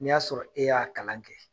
N'i y'a sɔrɔ, e y'a kalan kɛ